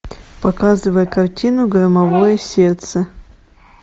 показывай картину громовое сердце